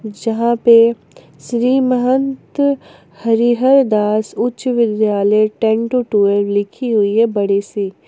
जहां पे श्री महंत हरिहर दास उच्च विद्यालय टेन टू ट्वेल्व लिखी हुई है बड़ी सी--